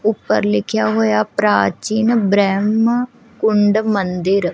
ਉੱਪਰ ਲਿਖਿਆ ਹੋਇਆ ਪ੍ਰਾਚੀਨ ਬਰੈਮ ਕੁੰਡ ਮੰਦਿਰ।